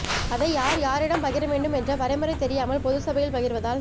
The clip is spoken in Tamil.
அதை யார் யாரிடம் பகிர வேண்டும் என்ற வரைமுறை தெரியாமல் பொது சபையில் பகிர்வதால்